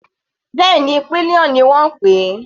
Bẹ́ẹ̀ni, pillion ni wọ́n ń pè é.